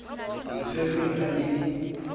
le tshwerweng ha e le